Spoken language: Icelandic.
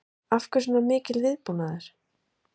Símon: Af hverju er svona mikill viðbúnaður?